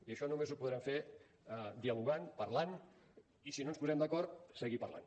i això només ho podrem fer dialogant parlant i si no ens posem d’acord seguir parlant